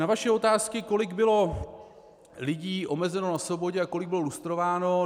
Na vaše otázky, kolik bylo lidí omezeno na svobodě a kolik bylo lustrováno.